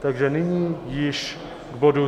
Takže nyní již k bodu